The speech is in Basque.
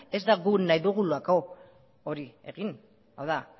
ez da guk nahi dugulako hori egin hau da